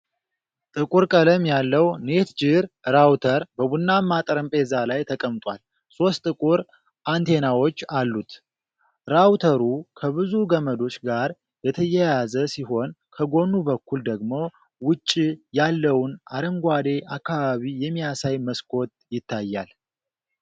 ጥቁር ቀለም ያለው "NETGEAR" ራውተር በቡናማ ጠረጴዛ ላይ ተቀምጧል፤ ሦስት ጥቁር አንቴናዎች አሉት። ራውተሩ ከብዙ ገመዶች ጋር የተያያዘ ሲሆን፣ ከጎኑ በኩል ደግሞ ውጪ ያለውን አረንጓዴ አካባቢ የሚያሳይ መስኮት ይታያል።